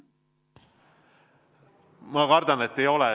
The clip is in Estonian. Ma kardan, et ei ole.